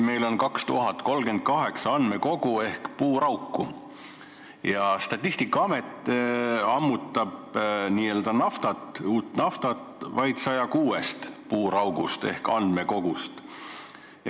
Meil on 2038 andmekogu ehk puurauku ja Statistikaamet ammutab naftat vaid 106 puuraugust ehk andmekogust.